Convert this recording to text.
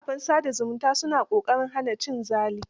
Kafafen sa da zumunta su na ƙoƙarin hana cin zali.